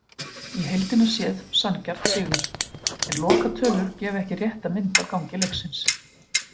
Í heildina séð sanngjarn sigur, en lokatölur gefa ekki rétta mynd af gangi leiksins.